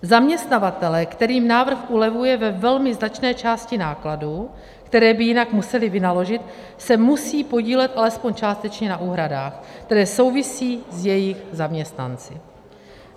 Zaměstnavatelé, kterým návrh ulevuje ve velmi značné části nákladů, které by jinak museli vynaložit, se musí podílet alespoň částečně na úhradách, které souvisí s jejich zaměstnanci.